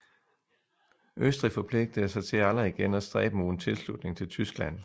Østrig forpligtede sig til aldrig igen af stræbe mod en tilslutning til Tyskland